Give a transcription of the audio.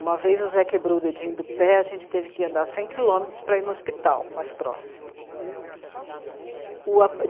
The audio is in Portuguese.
Uma vez o Zé quebrou o dedinho do pé, a gente teve que andar cem quilômetros para ir no hospital mais próximo.